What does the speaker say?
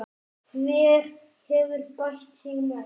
Hver hefur bætt sig mest?